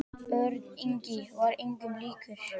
Örn Ingi var engum líkur.